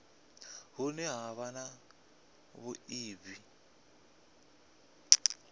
hune ha vha na vhuiivhi